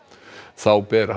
þá ber